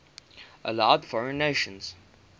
allowed foreign nations